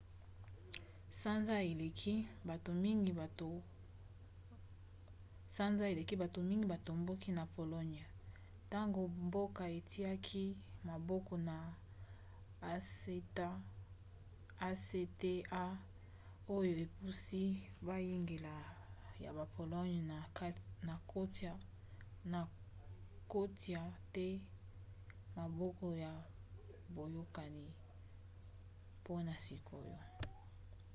sanza eleki bato mingi batombokaki na pologne ntango mboka etiaki maboko na acta oyo epusi boyangeli ya pologne na kotia te maboko na boyokani mpona sikoyo